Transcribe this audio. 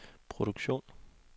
produktion